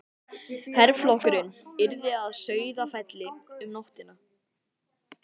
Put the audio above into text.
Herflokkurinn yrði að Sauðafelli um nóttina.